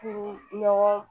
Furu ɲɔgɔn